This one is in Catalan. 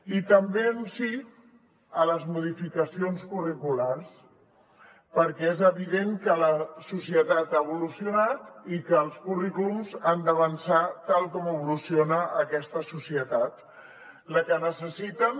i també un sí a les modificacions curriculars perquè és evident que la societat ha evolucionat i que els currículums han d’avançar tal com evoluciona aquesta societat la que necessiten